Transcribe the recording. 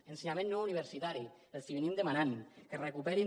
a ensenyament no universitari els venim demanant que recuperin